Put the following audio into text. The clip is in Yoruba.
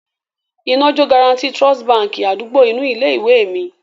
Iná jó Guaranty Trust Báńkì àdúgbò inú ilé-ìwé mi.